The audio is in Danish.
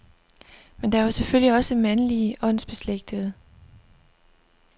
Men der var selvfølgelig også mandlige åndsbeslægtede.